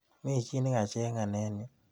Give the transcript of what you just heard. Mi chi nikacheng'a eng yu?